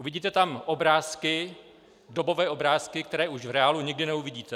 Uvidíte tam obrázky, dobové obrázky, které už v reálu nikdy neuvidíte.